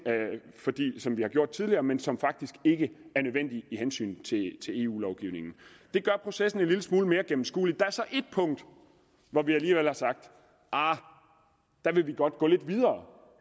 som vi har gjort tidligere men som faktisk ikke er nødvendige i hensynet til eu lovgivningen det gør processen en lille smule mere gennemskuelig der er så ét punkt hvor vi alligevel har sagt arh der vil vi godt gå lidt videre